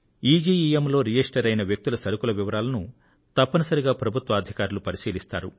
ఈజీఇఎమ్ లో రిజిస్టర్ అయిన వ్యక్తుల సరకుల వివరాలను తప్పనిసరిగా ప్రభుత్వాధికారులు పరిశీలిస్తారు